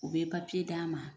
U bɛ papiye d'a ma,